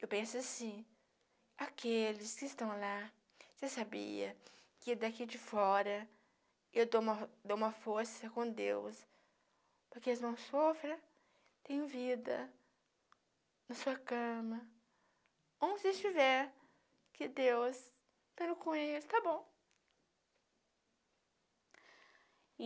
Eu penso assim, aqueles que estão lá, você sabia que daqui de fora eu dou dou uma força com Deus, para que eles não sofram, tem vida na sua cama, onde estiver, que Deus estarão com eles, tá bom.